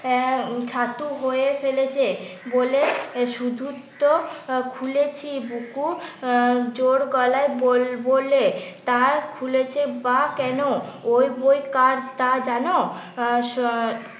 হয়ে ফেলেছে বলে শুধু তো খুলেছি বুকু আহ জোর গলায় বল বলে। তা খুলেছ বা কেনো? ও বই কার তা জানো?